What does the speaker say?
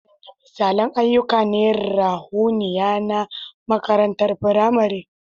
Wadanne misalan ayyuka na ruhaniya na makarantar firamare?